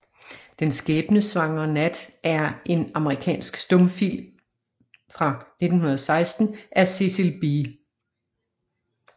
Den skæbnesvangre Nat er en amerikansk stumfilm fra 1916 af Cecil B